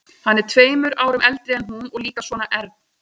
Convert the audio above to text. Hann er tveimur árum eldri en hún og líka svona ern.